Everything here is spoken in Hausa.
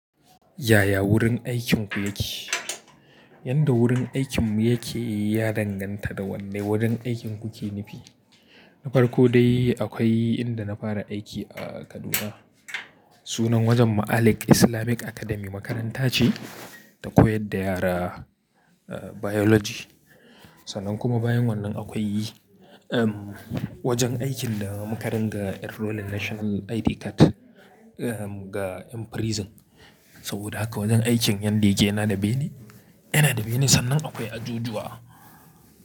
Yaya wurin aikinku yake? Yanda wurin aikinmu yake yi ya danganta da wanne wurin aikin kuke nufi. Na farko dai akwai inda na fara aiki a Kaduna. Sunan wajen Malek Islamic Academy makaranta ce ta koyar da yara Biology. Sannan kuma bayan wannan akwai wajen aikin da muka ringa enrolling National ID card ga 'yan prison. Saboda haka wajen aikin yanda yake na da bene. Yana da bene sannan akwai ajujuwa.